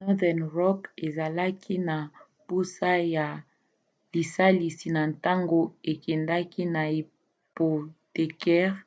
northern rock azalaki na mposa ya lisalisi na ntango akendaki na hypothécaires